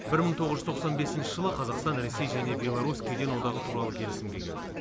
бір мың тоғыз жүз тоқсан бесінші жылы қазақстан ресей және беларусь кеден одағы туралы келісімге келді